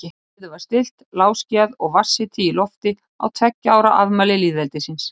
Veður var stillt, lágskýjað og vatnshiti í lofti á tveggja ára afmæli lýðveldisins.